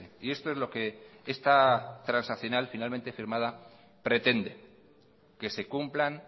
y esto es lo que esta transaccional finalmente firmada pretende que se cumplan